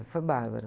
Foi bárbaro.